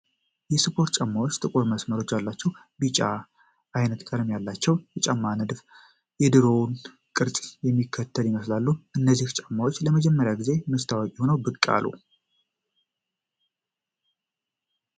የስፖርት ጫማዎች ጥቁር መስመሮች ያሏቸው ቢጫ-ቢዩ ዓይነት ቀለም አላቸው። የጫማዎቹ ንድፍ የድሮውን ቅርጽ የሚከተል ይመስላል። እነዚህ ጫማዎች ለመጀመሪያ ጊዜ መቼ ታዋቂ ሆነው ብቅ አሉ?